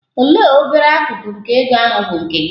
Olee obere akụkụ nke ego ahụ bụ nke gị?